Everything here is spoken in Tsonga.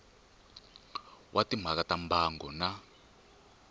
wa timhaka ta mbango na